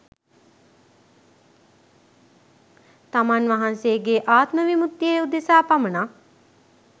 තමන් වහන්සේගේ ආත්ම විමුක්තිය උදෙසා පමණක්